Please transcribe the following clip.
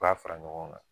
U b'a fara ɲɔgɔn kan